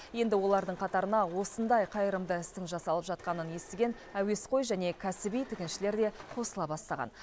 енді олардың қатарына осындай қайырымды істің жасалып жатқанын естіген әуесқой және кәсіби тігіншілер де қосыла бастаған